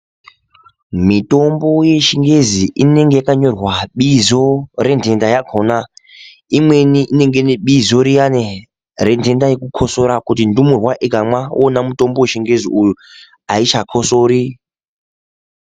Mitombo yechingezi inenge yakanyorwa bizo, rentenda yakhona. Imweni inenge ine bizo riyani, rentenda yekukosora, kuti ndumurwa ikamwa iwona mutombo wechingezi uyu, aichakosori.